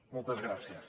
moltes gràcies